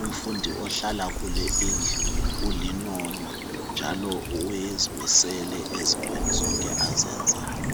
umfundi ohlala kule indlu, ulinono, njalo uzimisele ezintweni zonke azenzayo.